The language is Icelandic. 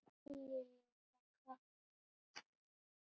Fín- Í meðal- Krafta